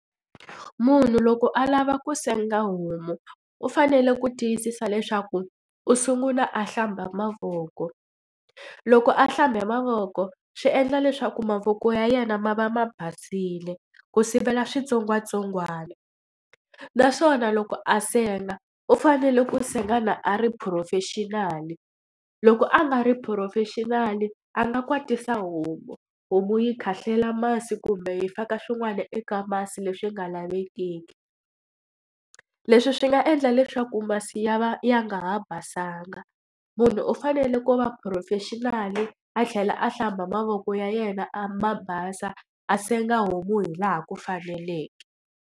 Munhu loko a lava ku senga homu u fanele ku tiyisisa leswaku u sungula a hlamba mavoko. Loko a hlambe mavoko swi endla leswaku mavoko ya yena ma va ma basile, ku sivela switsongwatsongwana. Naswona loko a senga u fanele ku senga a ri professional-i. Loko a nga ri professional-i a nga kwatisa homu, homu yi khahlela masi kumbe yi faka swin'wana eka masi leswi nga lavekiki. Leswi swi nga endla leswaku masi ya va ya nga ha basanga. Munhu u fanele ku va professional-i, a tlhela a hlamba mavoko ya yena a ma basa, a senga homu hi laha ku faneleke.